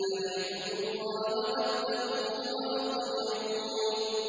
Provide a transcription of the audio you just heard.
أَنِ اعْبُدُوا اللَّهَ وَاتَّقُوهُ وَأَطِيعُونِ